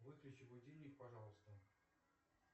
выключи будильник пожалуйста